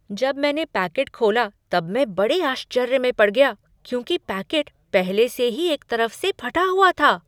जब मैंने पैकेट खोला तब मैं बड़े आश्चर्य में पड़ गया क्योंकि पैकेट पहले से ही एक तरफ से फटा हुआ था!